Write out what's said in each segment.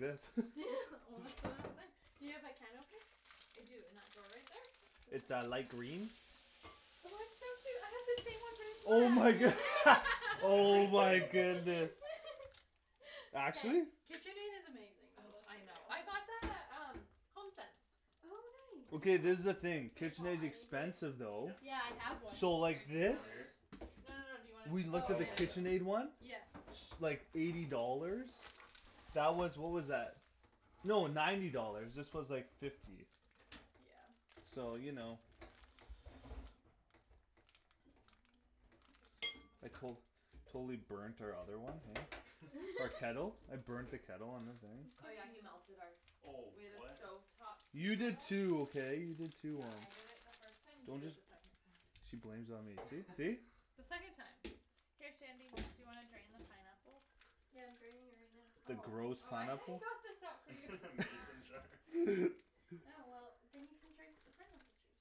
this Well that's what Do you have a can opener? I do, in that drawer right there? It's a light green Oh it's so cute, I have the same one but Oh my a cat good- Really? Oh my Everything goodness Actually? KitchenAid is amazing though, Oh, let's I be know, real I got that at um, HomeSense Oh I Okay, nice this is the know thing, K Paul, KitchenAid's I need the expensive though Yeah Yeah I have one So Here, like do you this? Over wanna here? No no no, do you wanna We looked Oh at the Oh yeah yeah just KitchenAid one Yep S- like, eighty dollars That was, what was that? No, ninety dollars, this was like fifty Yeah So you know I col- Totally burnt our other one, eh? Our kettle? I burnt the kettle on the thing Oh Course yeah you he melted our do Oh We had a what stove top tea You did kettle too, okay? You did too Yeah on- I did it first time, you Don't did it just the second time She blames it on me, see see? The second time Here Shandy, do you wanna drain the pineapple? Yeah I'm draining it right now The Oh, gross oh I I pineapple? got this out for you Mason jar Yeah well, then you can drink the pineapple juice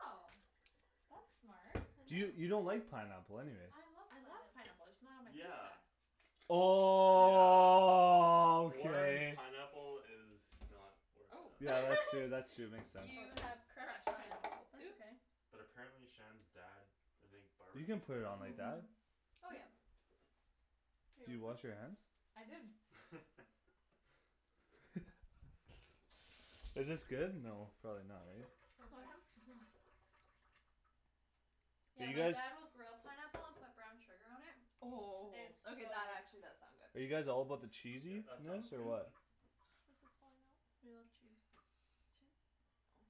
Oh That's smart I Do you, know you don't like pineapple anyways I love I love pineapple pineapple, I just not on my Yeah pizza Yeah Warm Okay pineapple is not where it's Oh Oh at Yeah that's true that's true, makes sense You have crushed pineapples That's oops okay But apparently Shan's dad, I think You barbecues can't put it on like pineapple? that Mhm Oh yeah Here you Did you want wash your hands? some? I did Is this good? No, probably not right? Want some? Mhm Do Yeah you my guys dad will grill pineapple and put brown sugar on it Oh, It's so okay that good actually does sound Are good you guys all about the Yeah that sounds cheesiness or good Mhm what This is falling off We love cheese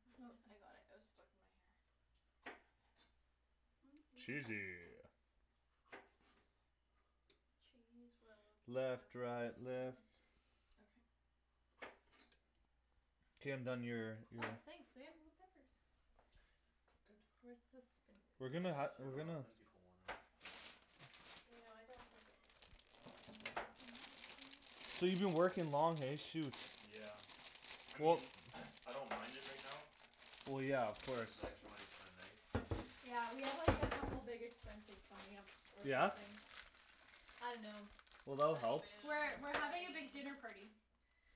Oh, I got it, it was stuck in my hair Mm mm mm Cheesy Cheese will keep us Left right left together Okay K I'm done your, Oh, your thanks babe, more peppers Good Where's the We're spinach? gonna ha- I we're dunno how gonna thin people want them You know I don't think it's a good deal So you been working long, hey? Shoot Yeah I Well mean I don't mind it right now Well yeah of Cuz course the extra money's kinda nice Yeah we have like a couple big expenses coming up, or Yeah? something I dunno Well that'll help We're Honeymoon, we're having a big wedding dinner party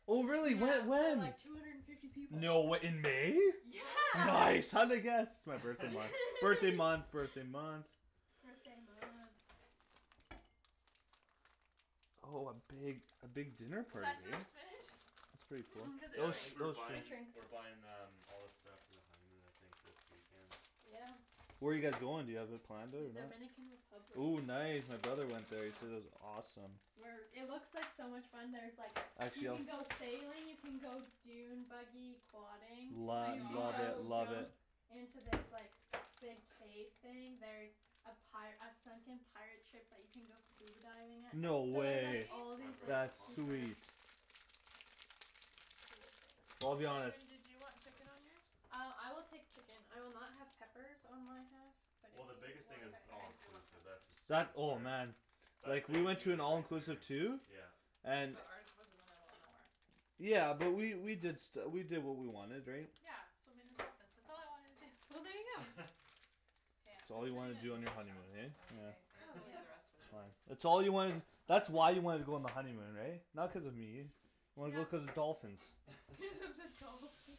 Oh really? Yeah Whe- for when? like two hundred and fifty people No way, in May? Yeah Nice, how'd I guess? It's my birthday month, birthday month birthday month Birthday month Oh a big, a big dinner Was party, that too eh? much spinach? That's pretty cool, Cuz it it Yeah will I sh- think it we're will shrinks shrink It buying, shrinks we're buying um all the stuff for the honeymoon I think this weekend Yeah Where you guys going, do you have it planned out? Dominican Republic Ooh nice, my brother went there, he said it was awesome We're it looks like so much fun, there's like, you Actually I'll can go sailing, you can go dune buggy quadding Oh my Lo- You can love it, go gosh love it jump into this like, big cave thing, there's a pi- a sunken pirate ship that you can go scuba diving at No So Really? there's like way all Wanna these draw like That's stuff on? super sweet Cool things Well I'll be honest Shandryn do you want chicken on yours? Uh, I will take chicken, I will not have peppers on my half But if Well the you biggest thing want it's Okay, it's all I peppers do want inclusive, that's the peppers That, sweetest oh part man That Like, we saves went to you an like right all-inclusive there too Yeah And But ours was in the middle of nowhere Yeah, but we, we did stu- we did what we wanted, right? Yeah, swimming with dolphins, that's all I wanted to do Well there you go K, That's I'm all just you putting wanted to it do in on your big honeymoon, chunks, is that eh? okay? I guess Oh we'll leave the yeah rest for the That's boys fine That's all you wanted, that's why you wanted to go on the honeymoon, right? Not cuz of me Wanted to go Yeah cuz of the dolphins Cuz of the dolphins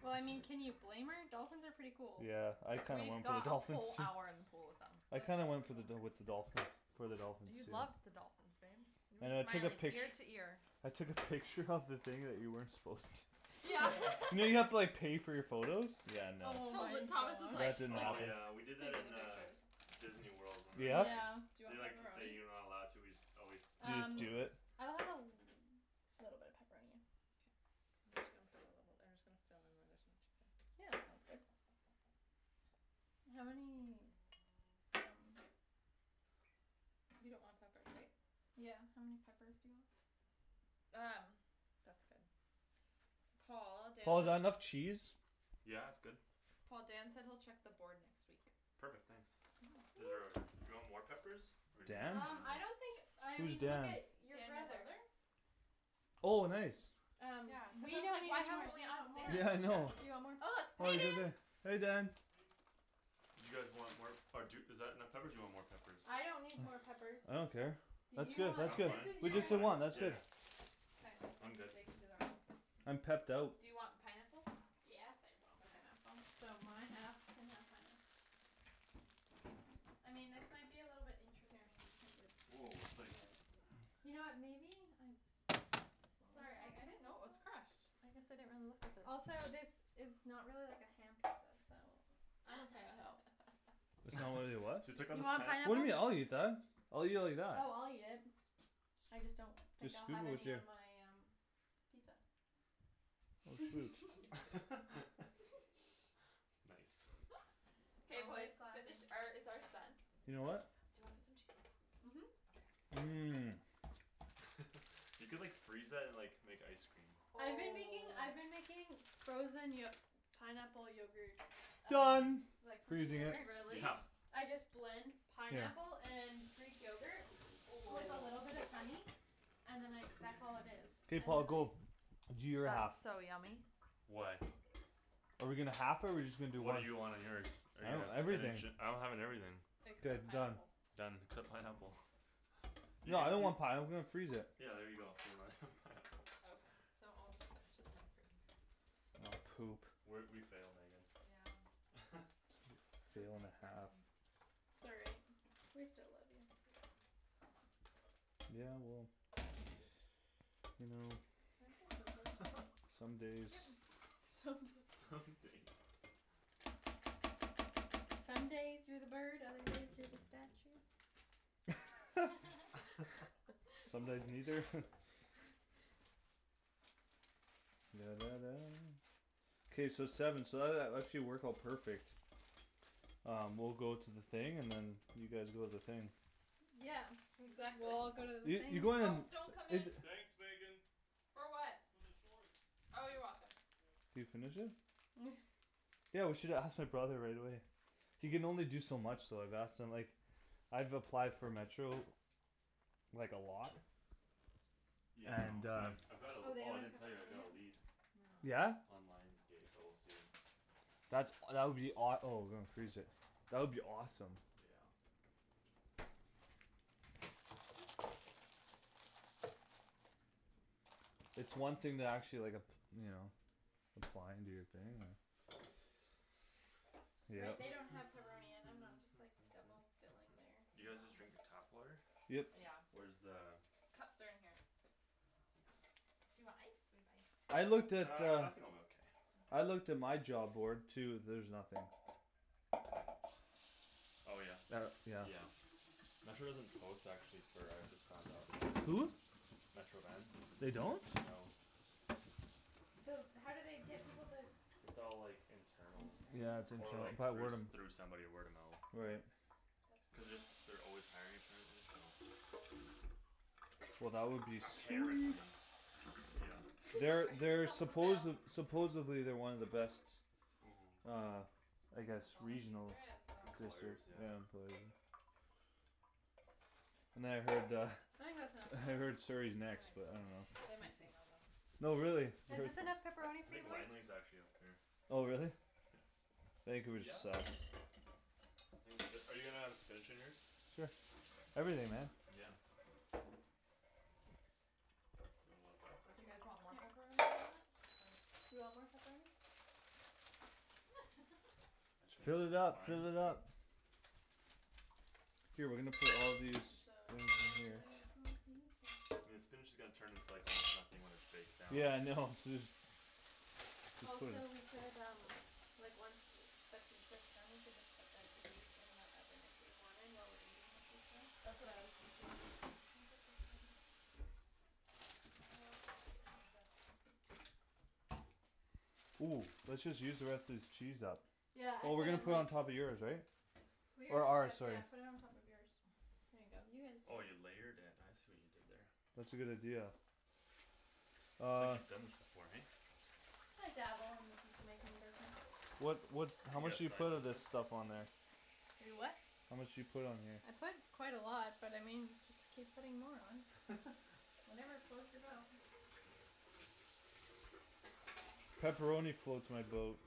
Well I mean, can you blame her? Dolphins are pretty cool Yeah, I kinda We went for the got a dolphins whole too hour in the pool with I That's them kinda went for the dol- with the dolphins, for the dolphins, You too loved the dolphins, babe You were And I took a smiling pict- ear to ear I took a picture of the thing that you weren't supposed to Yeah You know you have to like pay for your photos? Nice Oh my Tot- Thomas was That gosh like, didn't like Oh happen this, yeah we did that taking in the uh pictures Disneyworld when we were Yeah? Yeah Do there you They want like say pepperoni? you're not allowed to, we just always snipe You just do Um it? photos I'll have a l- little bit of pepperoni, yeah K I'm just gonna put a little, I'm just gonna fill in where there's no chicken Yeah, that sounds good How many, um You don't want peppers, right? Yeah, how many peppers do you want Um, that's good Paul, Dan Paul is that enough said cheese? Yeah it's good Paul, Dan said he'll check the board next week Perfect, thanks Is there Woo a, do you want more peppers, or do you think Dan? it's Um, fine I here don't think, I Who's mean look Dan? at your Dan, your brother brother? Oh nice Yeah, Um, cuz we I was don't like need why any more, haven't do we you want asked more, do Yeah I Dan? know you want Oh more, look, hey Dan peppers Hey Dan Do you guys want more, or d- is that enough peppers do you want more peppers I don't need more peppers I don't care Do That's you good that's I'm want, good, this fine, is with you I'm just guys' the fine one, that's yeah good K, I'm good they can do their own I'm pepped out Do you want pineapple? Yes I want Okay pineapple So my half can have pineapple I mean this might be a little bit Here interesting because it's Whoa it's it's like kind of You know what, maybe, I Sorry, I I didn't know it was crushed I guess I didn't really look at the Also this is not really like a ham pizza, so It's not really a what? So you took out You the want pan What do you mean? I'll eat pineapple? that I'll eat it like that Oh I'll eat it I just don't think Just I'll scoop have it with any your on my um pizza Oh shoot Nice Nice K boys, Always finish, classy or is ours done? Your what? Do you wanna put some cheese on top? Mhm Okay Mm You could like freeze that and like, make ice cream I've been making I've been Oh making frozen yo- pineapple yogurt Done from Like like frozen frozen yogurt. yogurt Really? Yeah I just blend Yeah pineapple and greek yogurt Oh with a little bit of honey And then I that's all it is K Paul, go Do your half That's so yummy Why? Are we gonna half it or we just gonna do What one? do you want on yours? Are you I have gonna everything spinach it, I'm having everything Like The done pineapple Done, except pineapple You Yeah I can, don't you want pineapple, let's freeze it Yeah there you go, so we're not having pineapple Okay, so I'll just finish it then, for you guys We're, we failed Megan Yeah It's Fail and okay, a here half man Sorry We still love you Yeah, somewhat Yeah well, you know Can I have the scissors? Some days Yep Some Some days days Some days you're the bird, other days you're the statue Some What? days neither? K so seven so that that actually worked out perfect Uh, we'll go to the thing, and then you guys go to the thing Yeah We Exactly all go to the Yeah you things go to Oh, don't come the, is in uh- For what? Oh you're welcome Can you finish it? Mm Yeah, we should have asked my brother right away He can only do so much though, I've asked him like, I've applied for Metro, like a lot Yeah I know, And uh I've I've got a, Oh they oh I don't didn't have tell you, I pepperoni got a yet? lead No Yeah? On Lions Gate, but we'll see That's, that would be awe- oh that would be awesome Yeah It's one thing to actually like ap- you know, apply and do your thing, uh They Yep they don't have pepperoni and I'm not just like double filling their You y'know guys just drinking tap water? Yep Yeah Where's the Cups are in here Do Thanks you want ice? We have ice Uh, I looked at uh, I think I'm okay I looked at my job board too, there's nothing Oh yeah? Uh, yeah Yeah Metro doesn't post actually for, I just found out Hm? Metro Van? They don't? No So how do they get people to It's all like, internal Yeah, Internal? it's Or internal, or like by through word of s- through somebody word of mo- mouth Right That's Cuz they're brutal s- they're always hiring apparently, so Well that would be Mm sweet Apparently Yeah They're they're That was a supposed, fail supposedly they're one of the best, Mhm uh I And guess that's all the cheese regional there is, so Employers, yeah yeah, employer And then I heard uh, I think that's enough I pepperoni heard Surrey's I next think but so too, um they might say no though No really, but Is this enough pepperoni I for you think boys? Langley's actually up there Oh really? Yeah Vancouver sucks Are you gonna have spinach on yours? Sure, everything, man Yeah You want more on that Do you guys side? want more pepperoni on Yep that, or? I think Fill it that's up, fine fill it up K we're I'm gonna put all of these so in here excited for pizza I mean the spinach is gonna turn into almost nothing when it's baked down Yeah I know, Also we could um Like once the pizza's done we could just put the cookies in the oven if we wanted, while we're eating the pizza That's what I was thinking Think this is done My whole gonna be Mm, let's just use the rest of this cheese up Yeah, I Well we're put gonna it put it on on top of yours, right Or Yeah, ours, sorry yeah put it on top of yours There you go, you guys Oh do you it layered it, I see what you did there That's a good idea It's like Uh you've done this before, eh? I dabble in the pizza making business What what You how much got do you side put of this business? stuff on there? You what? How much do you put on here? I put quite a lot, but I mean y- just keep putting more on Whatever floats your boat Pepperoni floats my boat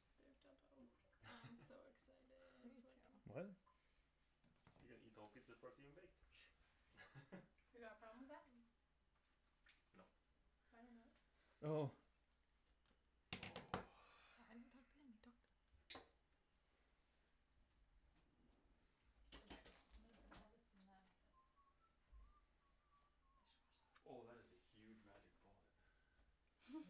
I'm so Me excited for too What? pizza You gonna eat the whole pizza before it's even baked You got a problem with that? No Oh Okay, I'm gonna put all this in the Oh that dishwasher is a huge magic bullet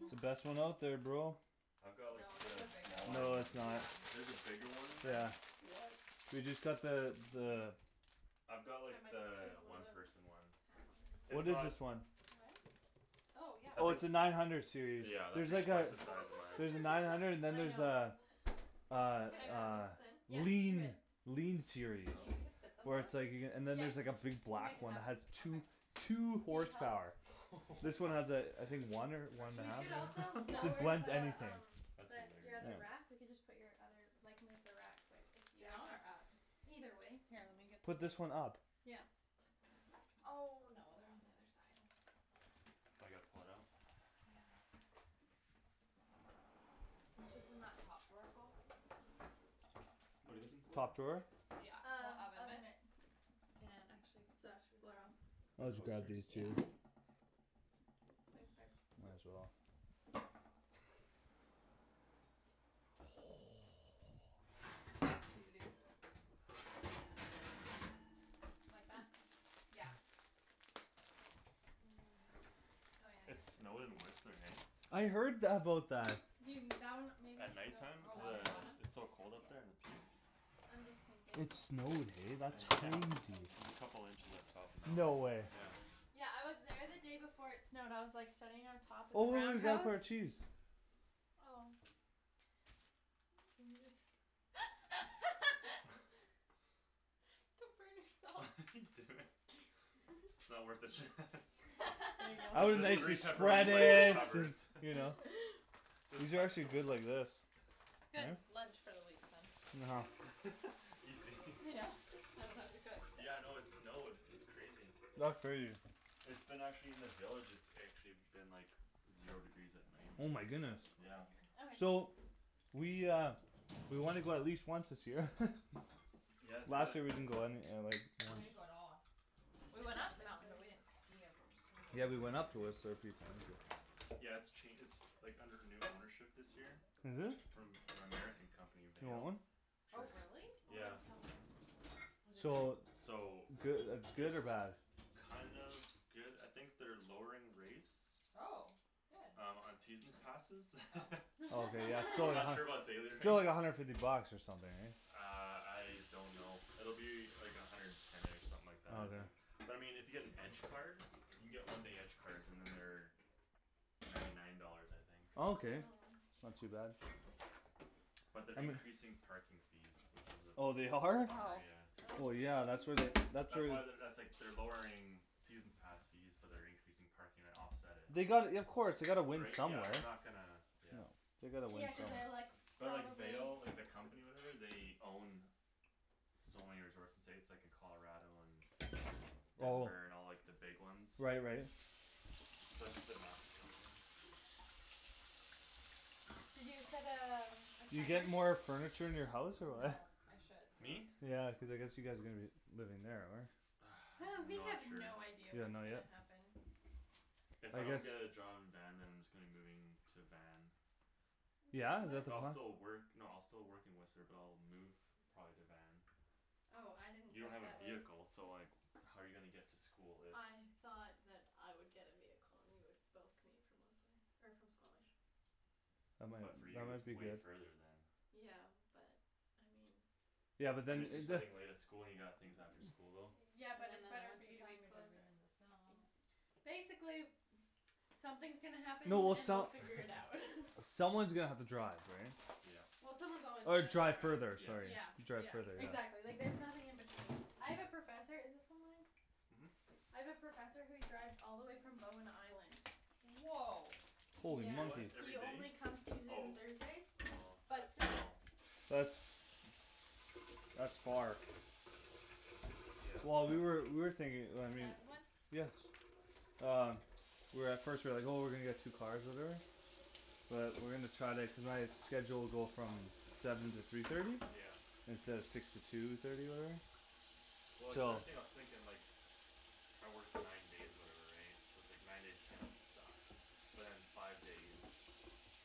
It's the best one out there, bro I've got like No, there's a the bigger one, smaller No it's one not yeah There's a bigger one than Yeah that? What? We just got the, the I've got like Yeah the one one of those person one It's What is not this one? Oh Oh yeah, yeah I Oh it's think please a do nine hundred series, Yeah that's there's Oh my like like a twice the size of gosh, mine look at There's a their nine pizza hundred and then I there's a, know a, It's Can like I a that put? Yeah, do lean it lean series Do you think we can fit Oh them Where both? it's like you c- and then there's like a Yeah, big we'll make black it one that has happen two, Okay two Do you need help? horsepower This one What has a, I think one or one Or and a should We we do half could also like, maybe, it j- layer blends the the anything um, That's the s- the hilarious other wrap, we Yeah can just put your other, like move the wrap quick if you Down or up? Either way Here, let me get the Put things this one up Yeah Oh no, they're on the other side Now I gotta pull it out? Yeah It's just in that top drawer, Paul What're you looking for? Top drawer? Yeah, the Um, oven oven mitts mitts And actually The These coasters? Yeah two Thanks babe Might as well Mhm Need a big Like that? Yeah Oh yeah I It guess it's snowed in Whistler, eh I heard th- about that You that one maybe At should night go time, Oh, cuz on the uh, bottom? underneath it's so cold up there Yeah at the peak? I'm just thinking It snowed, eh? That's This Yeah crazy place is so There's a messy. couple inches up top now, No way yeah Yeah I was there the day before it snowed, I was like sitting on top of the Oh Roundhouse? our cheese Oh Couldn't you just Come burn What yourself are you doing? It's not worth it Shan There you The I would go the nicely three spread pepperoni bites it it, and covers you know But Just these are actually good like this Good, lunch for the week then Know Easy Yeah, I don't have to cook Yeah no it snowed, it's crazy That's crazy It's been actually in the villages it's actually been like Zero degrees at K, night I'm Oh just my gonna throw goodness all these Yeah all over Okay here So We uh, we wanna go at least once this year Yeah do Last it year we didn't go any uh, like We didn't go at all We That's went up the mountain but we expensive didn't ski or Yeah we went snowboard up to Whistler a few times Yeah it's ch- it's like, under new ownership this year Is it? From an American company, You want Vail? one? Oh really? Oh Yeah it's so good Is it good? So So Goo- good It's or bad? kind of good, I think they're lowering rates Oh, good Um, on seasons passes Oh Oh okay yeah, so I'm th- not sure about daily rates still like a hundred fifty bucks or something eh Uh, I don't know, it'll be like a hundred and ten-ish, something like that Okay But I mean if you get an edge card? You can get one day edge cards and then they're Ninety nine dollars I think Oh Okay, not too bad But they're I'm a increasing parking fees, which is Oh they a are? bummer, Oh yeah Oh Oh yeah, really? that's where they, that's where That's why they're, that's like they're lowering seasons pass fees, but they're increasing parking to offset it They gotta y- of course, they gotta win Right, yeah somewhere they're not gonna, yeah No They gotta win Yeah cuz they're like, some But like probably Vail, like the company or whatever they own So many resorts in the States, like in Colarado and Oh Denver and all like the big ones Right right So it's just a massive company You said um, You get more furniture in your house or No, what I should Me? though Yeah, cuz I guess you guys are gonna be living there, or? Hey, we Not have sure no idea You don't what's know gonna yet? happen If If I I guess don't get a job in Van then I'm just gonna be moving to Van Yeah? Is that the But I'll plan? still work, no I'll still work in Whistler but I'll move probably to Van Oh, I didn't You don't think have a that was vehicle, so like how you gonna get to school if I thought that I would get a vehicle and we could both commute from Whistler, or from Squamish That might, But for that you it's might be way good further then Yeah, but, I mean Yeah but And then, if you're it- the studying late at school and you got things after school, though Yeah And then but in it's the better for winter you to be time you're closer driving in the snow Basically something's gonna happen No well and we'll some- figure it out Someone's gonna have to drive, right Yeah Yeah someone's always gonna Or have to drive further, drive sorry Yeah, Yeah Drive yeah further, exactly, like yeah there's nothing in between I have a professor, is this one mine? Mhm I have a professor who drives all the way from Bowen Island Whoa Yeah, Holy What, monkey he every only day? comes Tuesdays and Oh Thursdays, Oh, but but still still That's That's far Yeah Well we were, we were Can thinking I I mean have one? Um We were at first, we were like oh we're gonna get two cars or whatever But we're gonna try to, cuz my schedule will go from seven to three thirty Yeah Instead of six to two thirty or whatever Well like the So only thing I was thinking like I work nine days or whatever right, so it's like nine days are gonna suck But then five days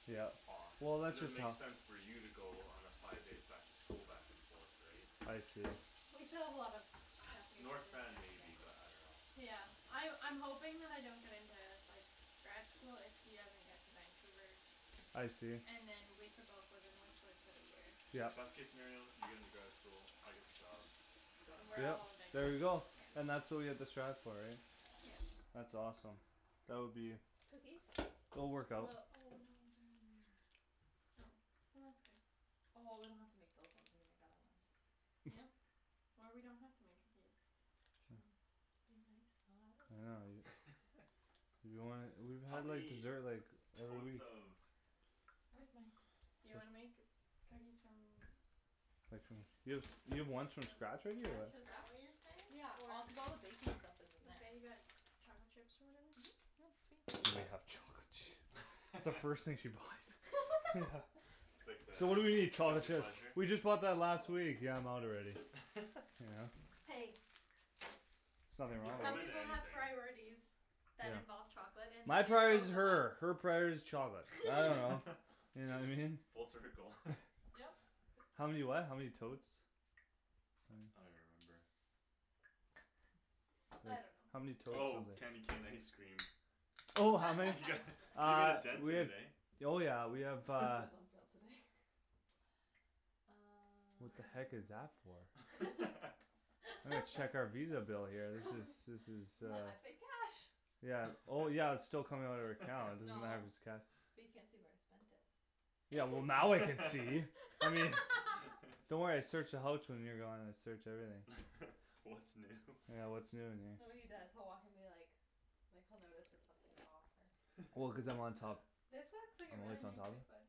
Yeah off Well It that's doesn't just make how sense for you to go on a five days back to school back and forth right I see We still have a lot of stuff we have North Van maybe but I dunno Yeah, I- I'm hoping that I don't get into like, grad school if he doesn't get to Vancouver I see And then we can both live in Whistler for the year Yeah Best case scenario, you get into grad school, I get the job Then Done we're Yeah, all in Vanco- there we go yeah And that's what we have to strive for, right Yeah That's awesome That would be Cookies? It'll work Well Oh no out they're in there Oh, well that's good Oh well we don't have to make those ones, we can make the other ones Yep, or we don't have to make cookies True Be nice I Oh I will dunno, you You don't wanna, we, How how do I many desert like totes of Where's my Do you wanna make cookies from Like from, you have, you have From ones scratch, from scratch right here or what is that what you're Scratch? Yeah, all cuz all the saying? Or baking stuff You is in there got chocolate chips or whatever? That's the first thing she buys Yeah It's like the So what do we need? Chocolate guilty chips pleasure? We just bought that last Oh week, yeah I'm out already Yeah Hey There's nothing They throw wrong Some with them in people have anything priorities that involve Yeah chocolate and when My priority's it's both of her, her us priority's chocolate, I dunno You know I mean? Full circle Yep How many what? How many totes I don't Mm even remember I How many don't know totes Oh, candy something cane ice cream Oh how many Yeah, you made Uh, a dent we in have it eh Oh yeah we have That uh was on sale today Uh What the heck is that for? I'm gonna check our Visa bill here, this is this is uh N- I paid cash Yeah, oh yeah but it's still coming out of our account, doesn't No matter if it's cash But you can't see where I spent it Yeah well now I can see I mean Don't worry I search the houch when you're gone, I search everything What's new Yeah what's new in here No what he does, he'll walk in be like, like he'll notice if something's off or Well cuz I'm on top This looks like a I'm really always on nice top cookbook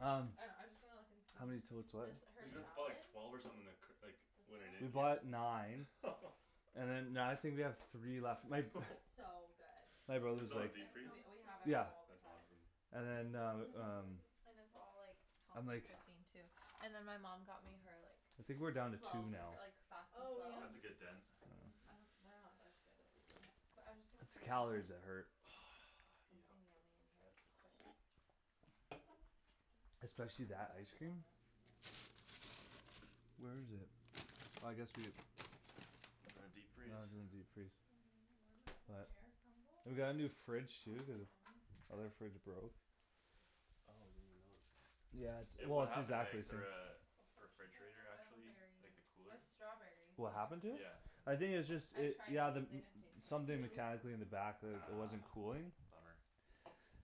Um I know, I was just gonna look and see, How many totes what this Cuz her you guys bought salad like twelve or something like c- like This We bought one? nine And then now I think we have three left, my b- It's so good My Put brother's some in like deep That And freeze? we sounds so we have it good Yeah all the That's time awesome And then That uh, sounds really um good And it's all like And healthy like cooking too And then my mom got me her like, I think we're down to two slow now cooker, like fast and Oh yum slow? That's a good I know dent Mm, I don't, they're not as good as these ones, but I'm just gonna It's see if the she calories has that hurt Yep Something yummy in here that's quick Hmm Especially that don't ice have cream walnuts, but Where is it? Oh I guess we have In the Oh it's deep freeze? in the deep freeze Banana warm up pear We got a new crumble? fridge That'd too, cuz be o- yummy Other fridge broke Oh I didn't even notice that Yeah it's, well What it's happened to exactly it, the same uh, the Poached pears, refrigerator I don't have actually, berries like the I cooler? have strawberries, but What not happened to it? Yeah I raspberries think it's just I've it, tried yeah the m- these, they didn't taste very Something good Mm- No? mechanically in the Ah, back t- mm it wasn't cooling bummer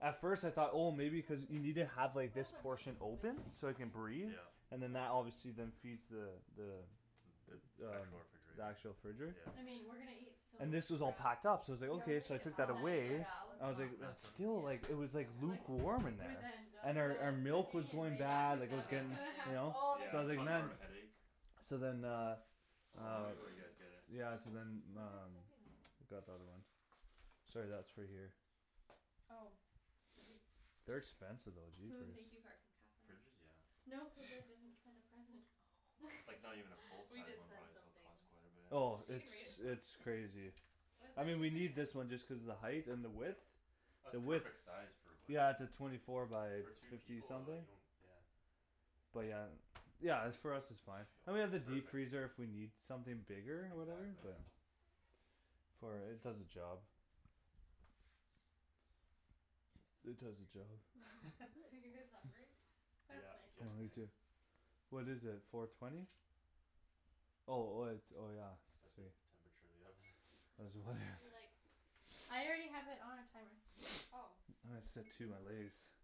At first I thought oh That's maybe cuz okay, you need I to guess have like I this don't portion need to open, so make it can any breathe Yeah And then No, that I don't obviously need then to feeds the the The The actual the refrigerator actual fridge Yeah I mean, we're gonna eat so And much this was all crap packed up, so I Yeah was like we're gonna okay, eat so I at Val's, took that oh Tonight away at I yeah was Val's? like, let's Mm, not it then nothing? Yeah still like, it was like Like s- okay lukewarm in with there And our our Angelica milk was cooking and going baking, Yeah, bad, she's like it gonna was bake she's getting, gonna something have you Ah know, all the so Yeah I was it's like goodies caused man more of a headache So then uh How Uh long ago you guys get it? Mm Yeah so then What am I um, stepping on? got the other one Sorry that's for here Oh Did you, They're expensive though, jeepers thank you card from Catherine Fridges? Yeah No cuz I didn't send a present Oh Like not even a full We size did one send probably still something costs quite a bit Oh You it's can read it if you want it's crazy It was I mean we actually very need this nice one just cuz the height and the width That's The width perfect size, for what Yeah it's a twenty four by For two fifty people uh, something you don't, yeah But yeah, yeah it's for us it's fine And we have the Perfect deep freezer if we need something bigger, or whatever, Exactly yeah yeah For it does the job I'm It does the so hungry job Mhm Are you guys hungry? That's Yeah, Oh getting me there nice too What is it, four twenty? Oh oh it's, oh yeah That's the temperature of the oven Do like I already have it on timer Ah Oh I my